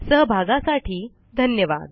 सहभागासाठी धन्यवाद